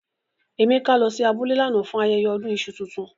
Emeka lo si abule lánà fun ayẹyẹ ọdún iṣu tuntun.